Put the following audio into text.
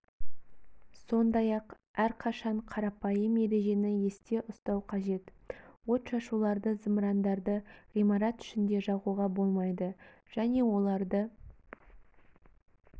сондай-ақ әрқашан қарапайым ережені есте ұстау қажет от шашуларды зымырандарды ғимарат ішінде жағуға болмайды және оларды